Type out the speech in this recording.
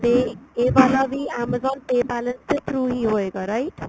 ਤੇ ਇਹ ਵਾਲਾ ਵੀ amazon pay balance ਦੇ through ਹੀ ਹੋਏਗਾ right